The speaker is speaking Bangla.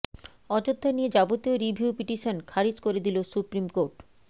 অযোধ্যা নিয়ে যাবতীয় রিভিউ পিটিশন খারিজ করে দিল সুপ্রিম কোর্ট